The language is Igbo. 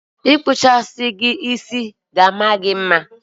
Mkpawa isi a ga-ama gị mma.